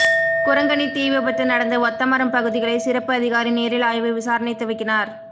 குரங்கணி தீவிபத்து நடந்த ஒத்தமரம் பகுதிகளை சிறப்பு அதிகாரி நேரில் ஆய்வு விசாரணை துவக்கினார்